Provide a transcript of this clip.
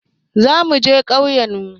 Za muje ƙauyen mu